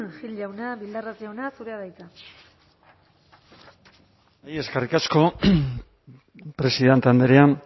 gil jauna bildarratz jauna zurea da hitza bai eskerrik asko presidente andrea